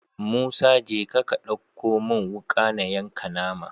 Musa jeka ka ɗauko mun wuka na yanka nama